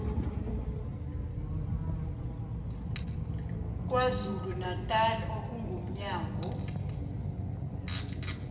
kwazulu natali okungumnyango